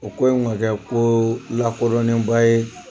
O ko in ma kɛ ko lakodonnen ba ye.